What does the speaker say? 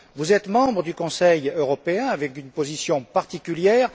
Vous êtes membre du Conseil européen, avec une position particulière.